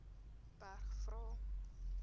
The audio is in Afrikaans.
berg vra